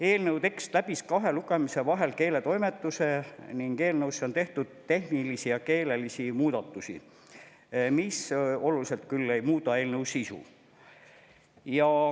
Eelnõu tekst läbis kahe lugemise vahel keeletoimetuse ning eelnõusse on tehtud tehnilisi ja keelelisi muudatusi, mis küll oluliselt ei muuda eelnõu sisu.